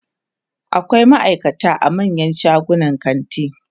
akwai maaikata a manyan shagunan kanti